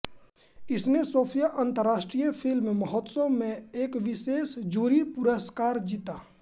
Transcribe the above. इसने सोफिया अंतर्राष्ट्रीय फिल्म महोत्सव में एक विशेष जूरी पुरस्कार जीता